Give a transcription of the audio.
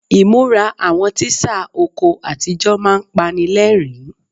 Ìmúra àwọn tíṣà oko àtijọ́ máa ń panilẹ́rìn-ín.